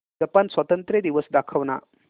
Japan स्वातंत्र्य दिवस दाखव ना